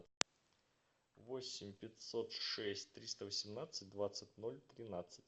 восемь пятьсот шесть триста восемнадцать двадцать ноль тринадцать